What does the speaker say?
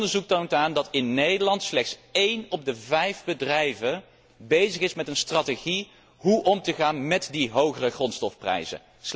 Onderzoek toont aan dat in Nederland slechts een op de vijf bedrijven bezig is met een strategie over hoe om te gaan met die hogere grondstofprijzen.